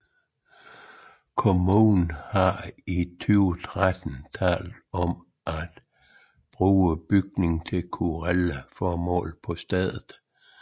Kommunen har i 2013 talt om at bruge bygningen til kulturelle formål i stedet